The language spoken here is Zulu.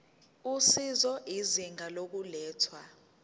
usizo izinga lokulethwa